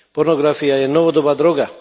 Pornografia je novodobá droga.